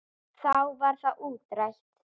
Þá var það útrætt.